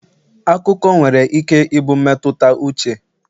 akụkọ nwere ike ịbụ mmetụta uche